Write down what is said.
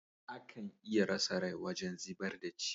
Akan iya rasa rai wajen zibar da ci.